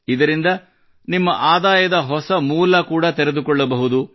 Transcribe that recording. ಇದರಿಂದ ನಿಮ್ಮ ಆದಾಯದ ಹೊಸ ಮೂಲ ಕೂಡಾ ತೆರೆದುಕೊಳ್ಳಬಹುದು